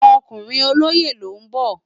Òkúrin ólóyé ló n bò